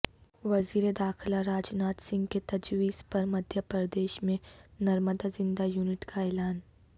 وزیر داخلہ راج ناتھ سنگھ کے تجویز پر مدھیہ پردیش میں نرمدا زندہ یونٹ کااعلان